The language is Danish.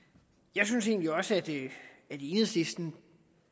jeg synes egentlig også at enhedslisten